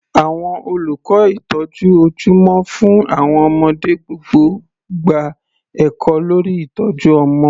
Àwọn olùkọ́ ìtọ́jú ojúmọ́ fún àwọn ọmọdé gbọ́dọ̀ gba ẹ̀kọ́ lórí ìtọ́jú ọmọ.